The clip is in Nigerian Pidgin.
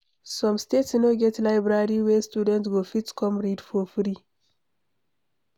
Some states no get library wey students go fit come read for free